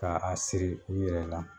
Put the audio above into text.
K'a a siri u yɛrɛ la